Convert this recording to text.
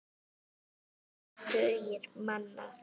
Þrír tugir manna.